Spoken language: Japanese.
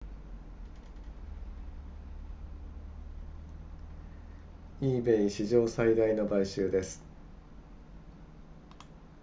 ebay 史上最大の買収です